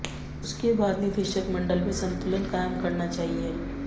उसके बाद निदेशक मंडल में संतुलन कायम करना चाहिए